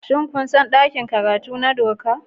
Shin kun san ɗakin karatu na doka?